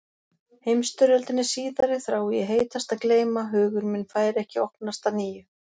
Heimsstyrjöldinni síðari þrái ég heitast að gleyma hugur minn fær ekki opnast að nýju.